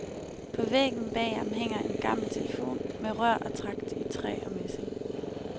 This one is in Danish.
På væggen bag ham hænger en gammel telefon med rør og tragt i træ og messing.